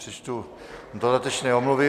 Přečtu dodatečné omluvy.